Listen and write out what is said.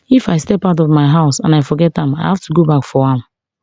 if i step out of my house and i forget am i have to go back for am